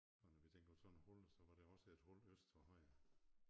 Og når vi tænker på sådan hul så var der også et hul øst for Højer